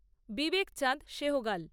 Vivek Chand Saigal